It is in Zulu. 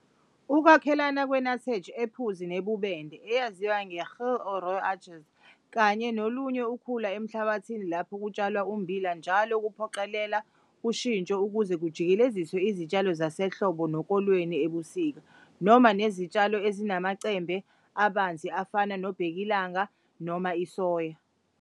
Ukwakhelana kwenutsedge ephuzi nebubende, eyaziwa njengegeel or rooi uintjies, kanye nolunye ukhula emhlabathini lapho kutshalwa ummbila njalo kuphoqelele ushintsho ukuze kujikeleziswe izitshalo zasehlobo nokolweni ebusika noma nezitshalo ezinamacembe abanzi afana nobhekilanga noma isoya.